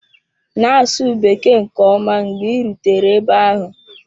Na-asụ Bekee nke ọma mgbe ị rutere ebe ahụ.